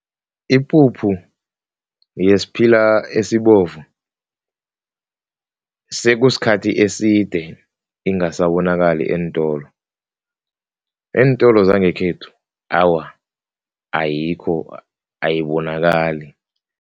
Ipuphu yesiphila esibovu sekusikhathi eside ingasabonakali eentolo, eentolo zangekhethu awa, ayikho ayibonakali.